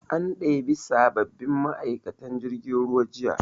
An ɗebi sabbabbin ma'aikatan jirgin ruwa jiya